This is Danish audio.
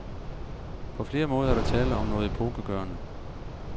På flere måder er der tale om noget epokegørende.